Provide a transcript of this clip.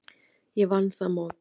Ég vann það mót.